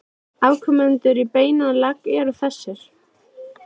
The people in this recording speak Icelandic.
Afkomendur í beinan legg eru þessir